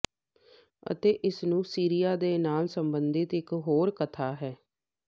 ਅਤੇ ਇਸ ਨੂੰ ਸੀਰੀਆ ਦੇ ਨਾਲ ਸੰਬੰਧਿਤ ਇਕ ਹੋਰ ਕਥਾ ਹੈ